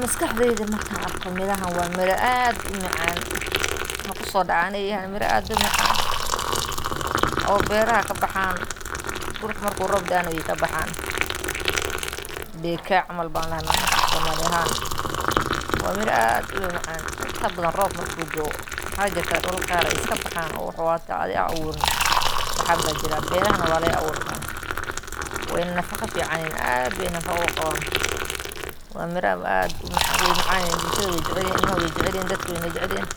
Maskaxdaydu markaan arko mirahan, waa miro aad u macaan. Waxaa ku soo dhacaya in ay yihiin miro aad u macaan oo beeraha ka baxa dulka marka roobku da’o. Berkaa camal ayaan dhahnaa annaga Af-Soomaali ahaan. Waa miro aad u macaan. Inta badan marka roobku da’o, waxaa jirta waxaa jira idulal oo xitaa adhigu uu abuurayo. Beerahana waa laga abuurtaa. Way na nafaqeeyaan si fiican, aad ayayna nafaqo u leeyihiin. Waa miro aad u macaan. Bulshadu way jeceshahay, carruurtuna way jecel yihiin, dadka oo dhan way jecel yihiin.